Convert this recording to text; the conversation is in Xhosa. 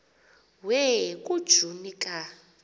we kujuni ka